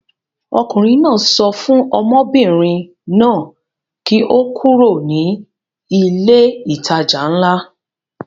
Ọkùnrin náà sọ fún ọmọbìnrin náà kí ó kúrò ní ilé-ìtajà ńlá.